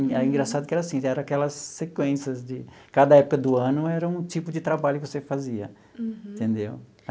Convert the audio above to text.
É engraçado que era assim, eram aquelas sequências de... Cada época do ano era um tipo de trabalho que você fazia, entendeu?